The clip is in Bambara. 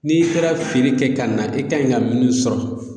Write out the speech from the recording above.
N'i taara feere kɛ ka na e kanɲi ka munnu sɔrɔ